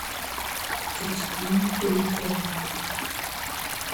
екатерина куликова